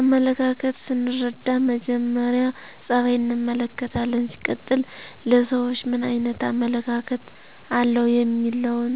አመለካከት ሰንርዳ መጀመሪ ፀበይ እንመለከታለን ሲቀጥል ለሰውች ምን አይነት አመለካከተ አለው የሚለውን